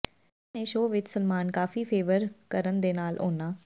ਜਿਨ੍ਹਾਂ ਨੇ ਸ਼ੋਅ ਵਿੱਚ ਸਲਮਾਨ ਕਾਫੀ ਫੇਵਰ ਕਰਨ ਦੇ ਨਾਲ ਉਨ੍ਹਾਂ